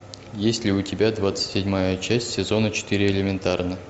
есть ли у тебя двадцать седьмая часть сезона четыре элементарно